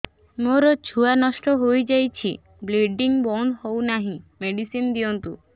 ମୋର ଛୁଆ ନଷ୍ଟ ହୋଇଯାଇଛି ବ୍ଲିଡ଼ିଙ୍ଗ ବନ୍ଦ ହଉନାହିଁ ମେଡିସିନ ଦିଅନ୍ତୁ